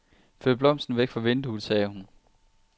Flyt blomsten væk fra vinduet, sagde hun.